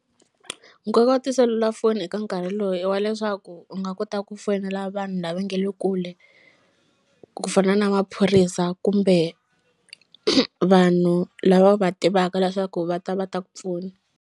Nkoka wa tiselulafoni eka nkarhi loyi i wa leswaku u nga kota ku foyinela vanhu lava nge le kule ku fana na maphorisa kumbe vanhu lava u va tivaka leswaku va ta va ta ku pfuna.